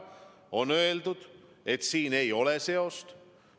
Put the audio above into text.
On öeldud, et siin ei ole seost.